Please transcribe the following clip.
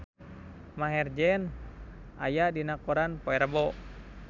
Maher Zein aya dina koran poe Rebo